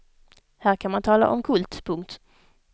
Här kan man tala om kult. punkt